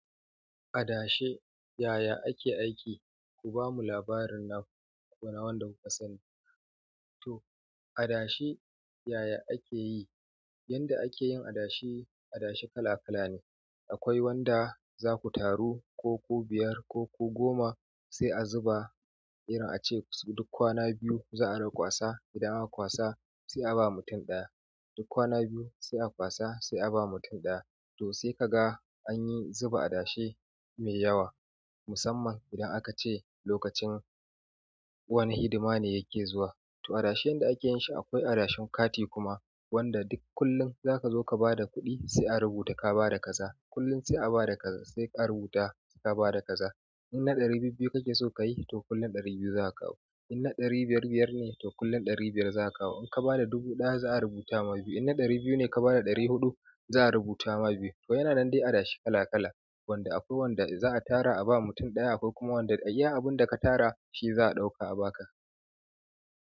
Adashe yaya ake aiki? Ku bamu labarin naku ko na wanda kuka sani. To adashe yaya ake yi, yanda ake yin adashe, adashe kala kala ne. Akwai wanda zaku taru ku ku biyar ko ku goma sai a zuba irin ace su duk kwana biyu za'a rinƙa kwasa. Idan aka kwasa sai a ba mutum ɗaya. Duk kwana biyu sai a kwasa sai a ba mutum ɗaya. To sai ka ga anyi zuba adashe mai yawa musamman idan aka ce lokacin wani hidima ne yake zuwa. To adashe yanda ake yin shi akwai adashen kati kuma wanda duk kullum za ka zo ka ba da kuɗi sai a rubuta ka ba da kaza. Kullum sai a ba da kaza sai ƙara rubutawa sai ka ba da kaza. Inna ɗari bibbiyu kake so kayi to kullum ɗari biyu zaka kawo. Inna ɗari biyar biyar ne to kullum ɗari biyar za a kawo. In kabada dubu ɗaya za'a rubuta ma biyu. Inna ɗari biyu ne ka ba da ɗari huɗu za'a rubuta ma biyu. To yana nan dai adashe kala kala wanda akwai wanda in za'a tara a ba mutum ɗaya akwai kuma wanda iya abun da ka tara shi za a ɗauka a ba ka.